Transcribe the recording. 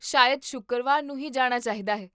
ਸ਼ਾਇਦ ਸ਼ੁੱਕਰਵਾਰ ਨੂੰ ਹੀ ਜਾਣਾ ਚਾਹੀਦਾ ਹੈ